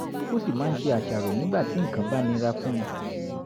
ó sì máa ń ṣe àṣàrò nígbà tí nǹkan bá nira fún un